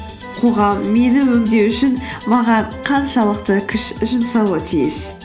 қоғам мені өңдеу үшін маған қаншалықты күш жұмсауы тиіс